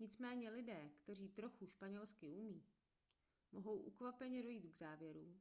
nicméně lidé kteří trochu španělsky umí mohou ukvapeně dojít k závěru